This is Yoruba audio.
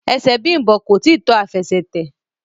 ẹsẹ Bimbo koi tí to Àfẹsẹ̀tẹ̀